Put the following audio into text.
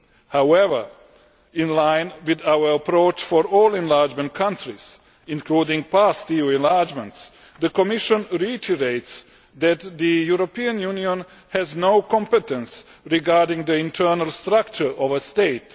However, in line with our approach for all enlargement countries, including past EU enlargements, the Commission reiterates that the European Union has no competence regarding the internal structure of a state.